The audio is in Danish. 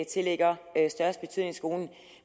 tillægger størst betydning i skolen